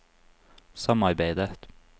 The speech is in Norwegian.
samarbeidet